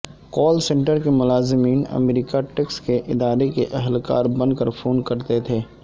کال centre کے ملازمین امریکہ ٹیکس کے ادارے کے اہلکار بن کر فون کرتے تھے